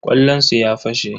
ƙwallonsu ya fashe.